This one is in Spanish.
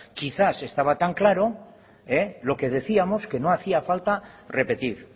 quizás estaba tan claro lo que decíamos que no hacía falta repetir